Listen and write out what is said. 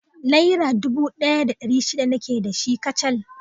Naira dubu ɗaya da ɗari shida nake da shi kacal